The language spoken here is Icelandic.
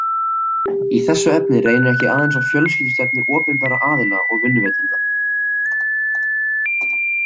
Í þessu efni reynir ekki aðeins á fjölskyldustefnu opinberra aðila og vinnuveitenda.